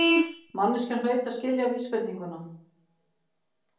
Manneskjan hlaut að skilja vísbendinguna.